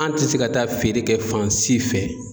An tɛ se ka taa feere kɛ fan si fɛ